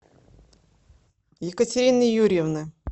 екатерины юрьевны